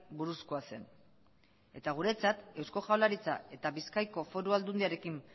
buruzkoa zen eta guretzat eusko jaurlaritza eta bizkaiko foru aldundiaren